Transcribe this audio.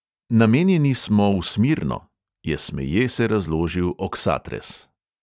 "Namenjeni so v smirno," je smeje se razložil oksatres.